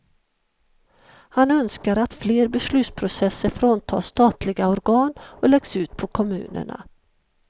Han önskar att fler beslutsprocesser fråntas statliga organ och läggs ut på kommunerna.